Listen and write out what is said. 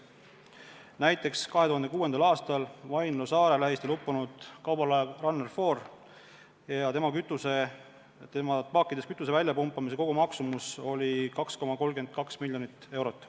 Näiteks 2006. aastal uppus Vaindloo saare lähistel kaubalaev Runner 4 ja selle paakidest kütuse väljapumpamise kogumaksumus oli 2,32 miljonit eurot.